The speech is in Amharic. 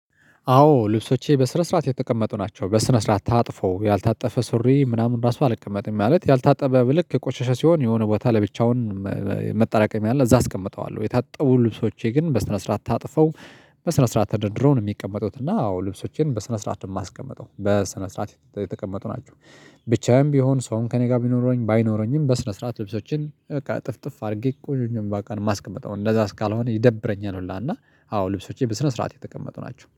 አዎ ልብሶቼ በስነ ስርዓት የተቀመጡ ናቸው በስነ ስርዓት ታጥፎ ያልታጠፈ ሱሪ ምናምን ራሱ አልቀመጥም ማለት ያልታጠበ ልክ የቆሻሻ ሲሆን የሆነ ቦታ ለብቻውን መጠራቀም አለ። አዛ አስቀምጠዋለሁ የታጠቡ ልብሶቼ ግን በስነ ስርዓት ታጥፈው በስነ ስርዓት ታድርድሮ ነው የሚቀመጡት እና አዎ ልብሶቼን በስነ ስርዓት የማስቀምጠው በስነ ስርዓት የተቀመጡ ናቸው። ብቻዬም ቢሆን ሰውም ከእኔ ጋር ቢኖረኝ ባይኖረኝም በስነ ስርዓት ልብሶችን አጥፍጥፍ አድርጌ ቆይቀ አንባካን ማስቀመጥ አሁን አንደዛ አስካልሆነ ይደብረኛል። ሁላ እና አዎ ልብሶቼ በስነ ስርዓት የተቀመጡ ናቸው